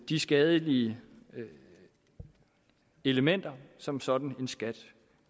de skadelige elementer som sådan en skat